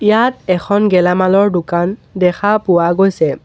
ইয়াত এখন গেলামালৰ দোকান দেখা পোৱা গৈছে।